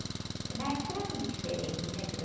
Porque na época era tudo diferente, né, filho?